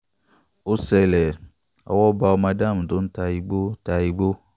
ó ṣẹlẹ̀ owó bá ọmọ dam tó ń ta igbó ta igbó